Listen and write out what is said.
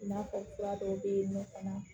I n'a fɔ fura dɔw bɛ yen nɔ fana